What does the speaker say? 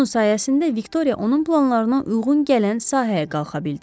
Bunun sayəsində Viktoriya onun planlarına uyğun gələn sahəyə qalxa bildi.